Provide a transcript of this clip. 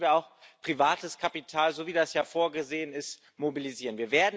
Und dazu müssen wir auch privates Kapital, so wie das ja vorgesehen ist, mobilisieren.